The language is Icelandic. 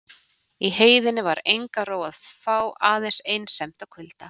Í heiðinni var enga ró að fá aðeins einsemd og kulda.